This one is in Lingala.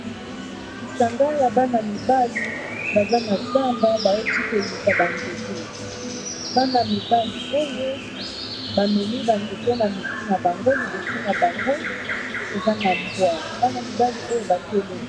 Lisanga ya bana mibali baza na zamba bauti koluka ba nzete bana-mibali oyo ba memi ba nzete na mitu na bango liboso na bango eza na mbwa bana mibali oyo batelemi...